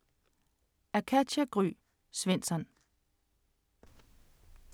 Af Katja Gry Svensson